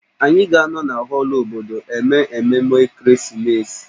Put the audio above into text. Anyị ga-anọ na họọlụ obodo eme ememe ekeresimesi